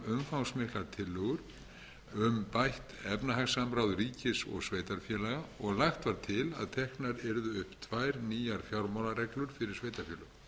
umfangsmiklar tillögur um bætt efnahagssamráð ríkis og sveitarfélaga og lagt var til að teknar yrðu upp tvær nýjar fjármálareglur fyrir sveitarfélög